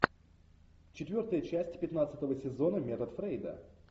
четвертая часть пятнадцатого сезона метод фрейда